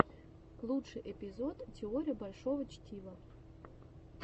лучший эпизод теория большого чтива